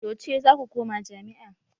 Yauce za ku koma jami'a?